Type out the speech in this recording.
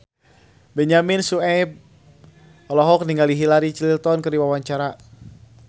Benyamin Sueb olohok ningali Hillary Clinton keur diwawancara